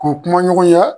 K'o kuma ɲɔgɔnya